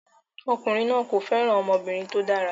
Ọkùnrin náà kò fẹ́ràn ọmọbìnrin tó dára